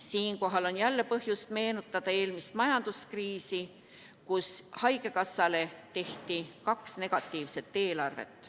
Siinkohal on jälle põhjust meenutada eelmist majanduskriisi, kus haigekassale tehti kaks negatiivset eelarvet.